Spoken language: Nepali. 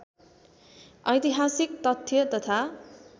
ऐतिहासिक तथ्य तथा